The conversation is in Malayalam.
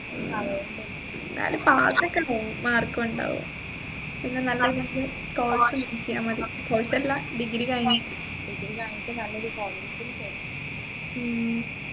ഉം എന്നാലും pass ഒക്കെ എല്ലാവും mark ഉം ഉണ്ടാവും പിന്നെ നല്ല രീതിയിൽ course ചെയ്തമതി course അല്ല degree കഴിഞ്ഞിട്ട്